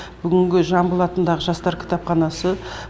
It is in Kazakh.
бүгінгі жамбыл атындағы жастар кітапханасы